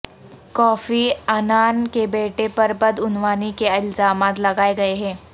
کوفی Annan کے بیٹے پر بدعنوانی کے الزامات لگائے گئے ہیں